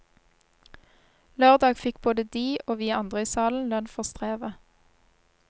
Lørdag fikk både de, og vi andre i salen, lønn for strevet.